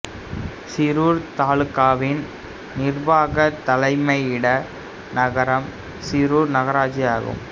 சிரூர் தாலுகாவின் நிர்வாகத் தலைமையிட நகரம் சிரூர் நகராட்சி ஆகும்